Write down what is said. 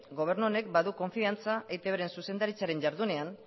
gobernu honek badu konfiantza eitbren zuzendaritzaren jardunean